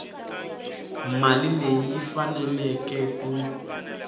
mali leyi yi faneleke ku